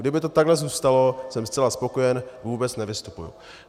Kdyby to takhle zůstalo, jsem zcela spokojen, vůbec nevystupuji.